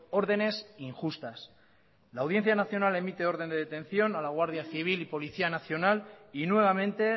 órdenes injustas la audiencia nacional emite orden de detención a la guardia civil y policía nacional y nuevamente